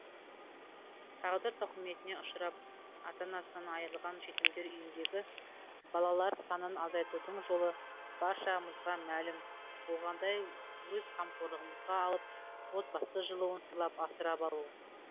тағдыр тауқыметіне ұшырап ата анасынан айрылған жетімдер үйіндегі балалар санын азайтудың жолы баршамызға мәлім болғандай өз қамқорлығымызға алып отбасы жылуын сыйлап асырап алу